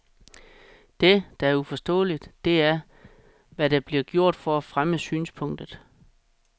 Det, der er uforståeligt, det er, hvad der bliver gjort for at fremme synspunktet.